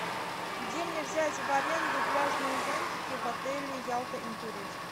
где мне взять в аренду пляжные зонтики в отеле ялта интурист